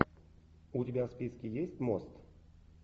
у тебя в списке есть мост